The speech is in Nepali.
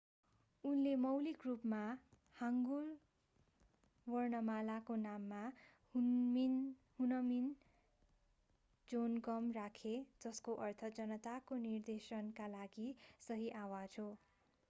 उनले मौलिक रूपमा हाङ्गुल वर्णमालाको नाम हुनमिन जोनगम राखे जसको अर्थ जनताको निर्देशनका लागि सही आवाज हो